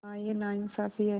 हाँ यह नाइंसाफ़ी है